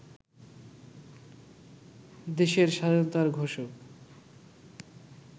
দেশের স্বাধীনতার ঘোষক